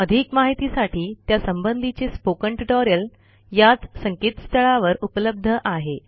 अधिक माहितीसाठी त्या संबधीचे स्पोकन ट्युटोरियल याच संकेतस्थळावर उपलब्ध आहे